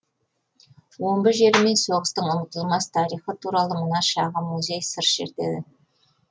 омбы жері мен соғыстың ұмытылмас тарихы туралы мына шағын музей сыр шертеді